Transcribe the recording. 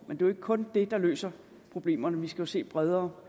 er jo ikke kun det der løser problemerne vi skal se bredere